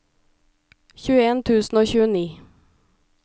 tjueen tusen og tjueni